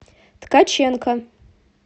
ткаченко